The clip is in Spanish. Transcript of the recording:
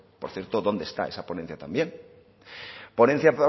por cierto dónde está esa ponencia también ponencia